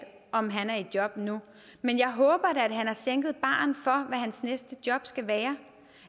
om han er i job nu men jeg håber da at han har sænket barren for hvad hans næste job skal være